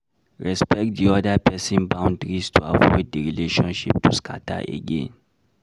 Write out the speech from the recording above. Respect di other person boundaries to avoid di relationship to scatter again